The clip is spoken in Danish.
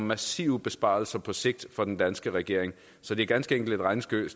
massive besparelser på sigt for den danske regering så det er ganske enkelt et regnestykke